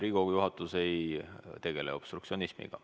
Riigikogu juhatus ei tegele obstruktsionismiga.